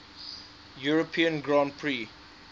european grand prix